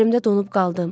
Yerimdə donub qaldım.